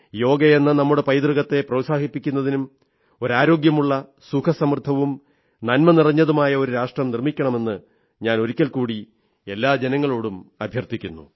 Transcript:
യോഗയെന്ന നമ്മുടെ പൈതൃകത്തെ പ്രോത്സാഹിപ്പിക്കാനും ഒരു ആരോഗ്യമുള്ള സുഖസമൃദ്ധവും നന്മനിറഞ്ഞതുമായ ഒരു രാഷ്ട്രം നിർമ്മിക്കാമെന്ന് ഞാൻ ഒരിക്കൽ കൂടി എല്ലാ ജനങ്ങളോടും അഭ്യർഥിക്കുന്നു